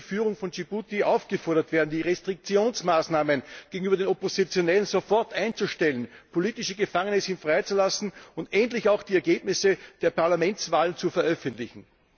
Daher muss die Führung von Djibuti aufgefordert werden, die Restriktionsmaßnahmen gegenüber Oppositionellen sofort einzustellen, politische Gefangene freizulassen und endlich auch die Ergebnisse der Parlamentswahlen zu veröffentlichen.